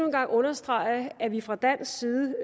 en gang understrege at vi fra dansk side